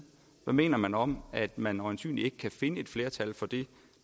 hvad mener man om at man øjensynlig ikke kan finde et flertal for det